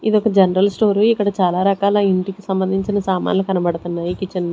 ఇది ఒక general store వి ఇక్కడ చాలా రకాల ఇంటికి సంబంధించిన సామాన్లు కనబడుతున్నాయి కిచెన్ .